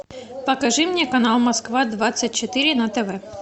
покажи мне канал москва двадцать четыре на тв